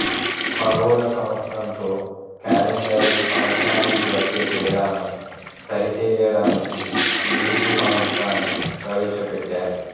ఖగోళ సంవత్సరంతో కాలెండరు సంవత్సరానికి వచ్చే తేడాను సరిచేయడానికి లీపు సంవత్సరాన్ని ప్రవేశపెట్టారు